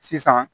Sisan